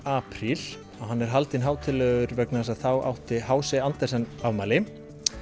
apríl og hann er haldinn hátíðlegur vegna þess að þá átti h c Andersen afmæli